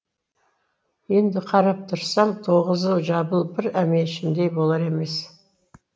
енді қарап тұрсам тоғызы жабылып бір әмешімдей болар емес